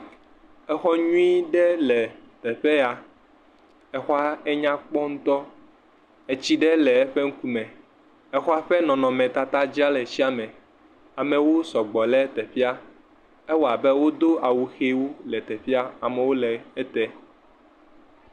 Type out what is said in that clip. Exɔ nyui ɖe le teƒe ya. Exɔa enyakpɔ ŋutɔ. Etsi le eƒe ŋkume. Exɔa ƒe nɔnɔmetata dzea le etsia me. Amewo sɔgbɔ le teƒea. Ewɔ abe wodo awu kpuiwo le teƒea. Amewo le ede.